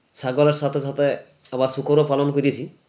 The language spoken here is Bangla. ছাগলের সাথে সাথে আবার শূকর ও পালন করেছি